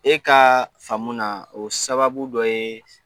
E ka faamu na o sababu dɔ ye